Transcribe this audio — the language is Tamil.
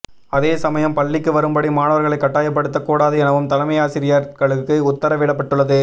அதே சமயம் பள்ளிக்கு வரும்படி மாணவர்களை கட்டாயப்படுத்தக் கூடாது எனவும் தலைமையாசிரியர்களுக்கு உத்தரவிடப்பட்டுள்ளது